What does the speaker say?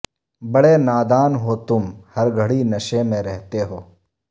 بڑے نادان ہو تم ہر گھڑی نشے میں رہتے ہو